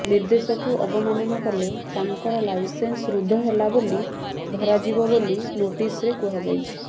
ନିର୍ଦ୍ଦେଶକୁ ଅବମାନନା କଲେ ତାଙ୍କର ଲାଇସେନ୍ସ ରଦ୍ଦ ହେଲା ବୋଲି ଧରାଯିବ ବୋଲି ନୋଟିସ୍ରେ କୁହାଯାଇଛି